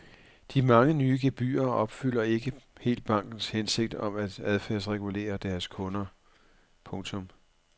De mange nye gebyrer opfylder ikke helt bankernes hensigt om at adfærdsregulere deres kunder. punktum